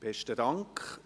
Besten Dank.